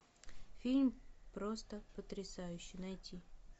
фильм просто потрясающе найти